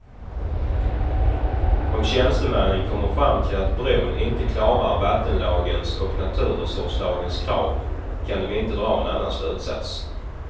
Om tjänstemännen kommer fram till att bron inte klarar vattenlagens och naturresurslagens krav kan de inte dra en annan slutsats.